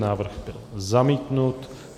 Návrh byl zamítnut.